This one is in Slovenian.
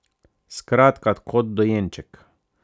Skratka, kot dojenček.